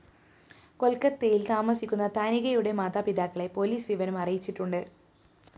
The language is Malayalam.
കൊല്‍ക്കത്തയില്‍ താമസിക്കുന്ന താനികയുടെ മാതാപിതാക്കളെ പോലീസ് വിവരം അറിയിച്ചിട്ടുണ്ട്